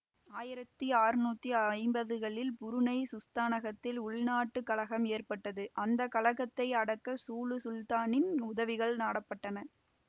ஆயிரத்தி அறுநூத்தி ஐம்பதுகளில் புருணை சுல்தானகத்தில் உள்நாட்டு கலகம் ஏற்பட்டது அந்த கலகத்தை அடக்க சூலு சுல்தானின் உதவிகள் நாடப்பட்டன